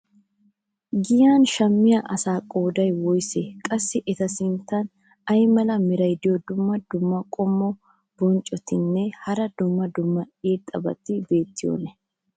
giyan shammiya asaa qooday woysee? qassi eta sintan ay mala meray diyo dumma dumma qommo bonccotinne hara dumma dumma irxxabati beetiyoonaa?